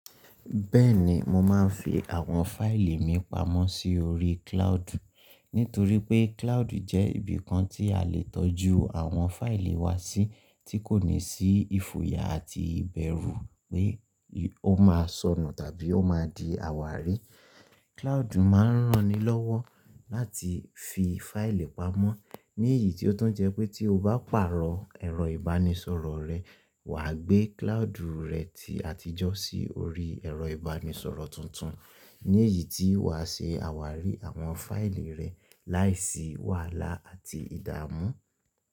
Bẹ́ẹ̀ni mo máa ń fi àwọn fáìlì mi pamọ́ sí orí cloud. Nítorí pé cloud jẹ́ ibìkan tí a lè tọ́jú àwọn fáìlì wa sí tí kò ní sí ìfòyà àti ìbẹ̀rù pé ó máa sọnù tàbí ó máa di àwárí. Cloud máa ń ran ni lọ́wọ́ láti fi fáìlì pamọ́ ní èyí tí ó tún jẹ́ pé tí o bá pàrọ̀ ẹ̀rọ ìbánisọ̀rọ̀ rẹ, wa gbé cloud rẹ ti àtijọ́ sí orí ẹ̀rọ ìbánisọ̀rọ̀ tuntun. Ní èyí tí wa ṣe àwárí àwọn fáìlì rẹ láìsí wàhálà àti ìdààmú.